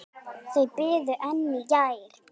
Þau biðu enn í gær.